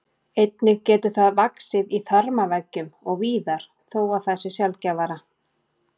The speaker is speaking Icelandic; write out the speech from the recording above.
Einnig getur það vaxið í þarmaveggjum og víðar þó að það sé sjaldgæfara.